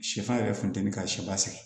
Sɛfan yɛrɛ funteni ka sɛ sɛgɛn